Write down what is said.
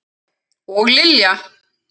Og Lilja!